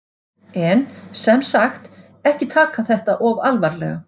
En, sem sagt, ekki taka þetta of alvarlega!